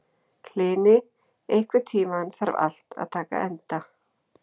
Hlini, einhvern tímann þarf allt að taka enda.